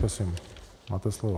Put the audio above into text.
Prosím, máte slovo.